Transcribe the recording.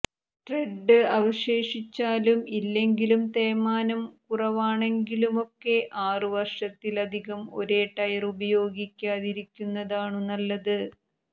ട്രെഡ് അവശേഷിച്ചാലും ഇല്ലെങ്കിലും തേയ്മാനം കുറവാണെങ്കിലുമൊക്കെ ആറു വർഷത്തിലധികം ഒരേ ടയർ ഉപയോഗിക്കാതിരിക്കുന്നതാണു നല്ലത്